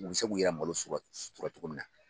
U bɛ se k'u yɛrɛ malo sutura cogo min na.